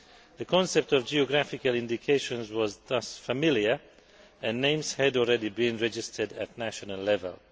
The concept of geographical indications was thus familiar and names had already been registered at national level.